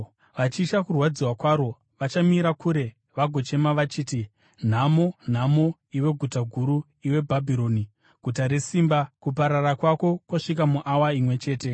Vachitya kurwadziwa kwaro, vachamira kure vagochema vachiti: “ ‘Nhamo! Nhamo, iwe guta guru, Iwe Bhabhironi, guta resimba! Kuparara kwako kwasvika muawa imwe chete!’